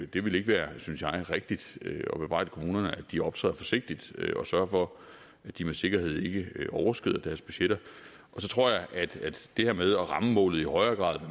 det ville være rigtigt at bebrejde kommunerne at de optræder forsigtigt og sørger for at de med sikkerhed ikke overskrider deres budgetter så tror jeg at det her med at ramme målet i højere grad